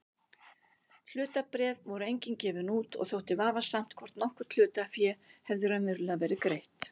Hlutabréf voru engin gefin út og þótti vafasamt hvort nokkurt hlutafé hefði raunverulega verið greitt.